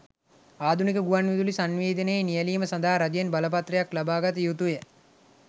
ආධුනික ගුවන් විදුලි සන්නිවේදනයේ නියැලීම සඳහා රජයෙන් බලපත්‍රයක් ලබ‍ා ගත යුතුය.